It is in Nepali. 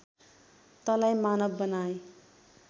तँलाई मानव बनाएँ